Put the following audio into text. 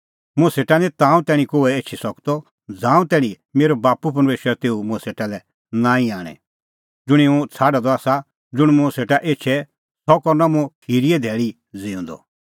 मुंह सेटा निं ताऊं तैणीं कोहै एछी सकदअ ज़ांऊं तैणीं मेरअ बाप्पू परमेशर तेऊ मुंह सेटा लै नांईं आणे ज़ुंणी हुंह छ़ाडअ द आसा ज़ुंण मुंह सेटा एछे सह करनअ मुंह खिरीए धैल़ी ज़िऊंदअ